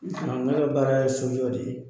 Ne ka baara ye sojɔ de ye